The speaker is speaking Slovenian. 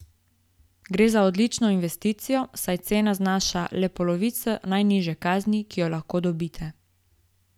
Gre za odlično investicijo, saj cena znaša le polovico najnižje kazni, ki jo lahko dobite.